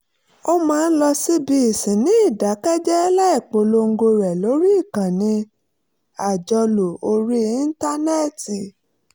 ó máa ń lọ síbi ìsìn ní ìdákẹ́jẹ́ẹ́ láì polongo rẹ̀ lórí ìkànnì àjọlò orí íńtánẹ́ẹ̀tì